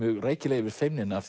rækilega yfir feimnina að